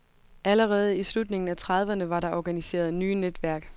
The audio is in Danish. Allerede i slutningen af trediverne var der organiseret nye netværk.